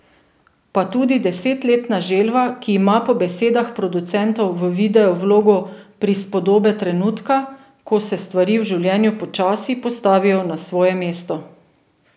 Pa tudi desetletna želva, ki ima po besedah producentov v videu vlogo prispodobe trenutka, ko se stvari v življenju počasi postavijo na svoje mesto.